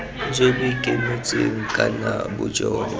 jo bo ikemetseng ka bojona